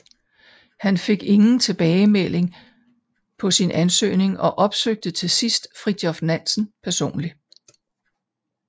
Han fik ingen tilbagemelding på sin ansøgning og opsøgte til sidst Fridtjof Nansen personlig